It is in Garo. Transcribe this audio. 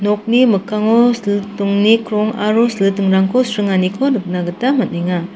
nokni mikkango silitingni krong aro silitingrangko sringaniko nikna gita man·enga.